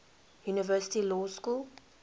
university law school